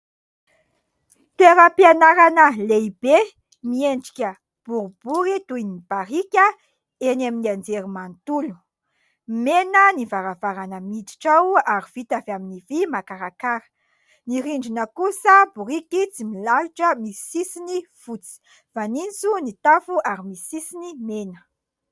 Toeram-pianarana lehibe miendrika boribory toy ny barika eny amin'ny anjerimanontolo, mena ny varavarana miditra ao ary vita avy amin'ny vy makarakara, ny rindrina kosa biriky tsy milalotra misy sisiny fotsy, fanitso ny tafo ary misy sisiny mena.